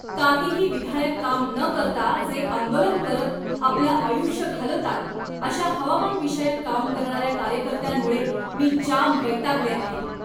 काहीही विधायक काम न करता जे आंदोलन करत आपलं आयुष्य घालवतात अशा हवामानविषयक काम करणाऱ्या कार्यकर्त्यांमुळे मी जाम वैतागले आहे.